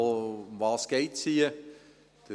Worum geht es hier?